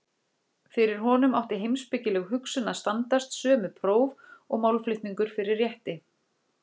Fyrir honum átti heimspekileg hugsun að standast sömu próf og málflutningur fyrir rétti.